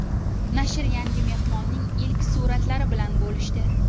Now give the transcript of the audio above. Nashr yangi mehmonning ilk suratlari bilan bo‘lishdi .